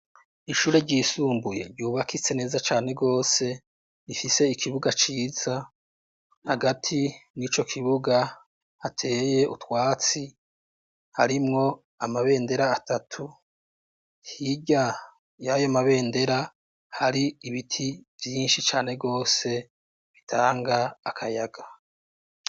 Ishure ryisumbuye ryubakitse neza cane gose, ifise ikibuga ciza, hagati n'ico kibuga hateye utwatsi, harimwo amabendera atatu, hirya yayo mabendera hari ibiti vyinshi cane gose bitanga akayaga.